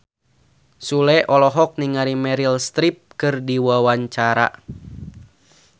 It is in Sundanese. Sule olohok ningali Meryl Streep keur diwawancara